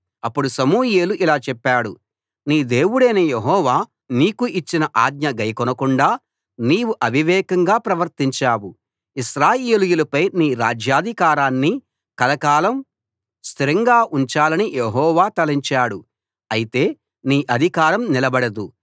అప్పుడు సమూయేలు ఇలా చెప్పాడు నీ దేవుడైన యెహోవా నీకు ఇచ్చిన ఆజ్ఞ గైకొనకుండా నీవు అవివేకంగా ప్రవర్తించావు ఇశ్రాయేలీయులపై నీ రాజ్యాధికారాన్ని కలకాలం స్థిరంగా ఉంచాలని యెహోవా తలచాడు అయితే నీ అధికారం నిలబడదు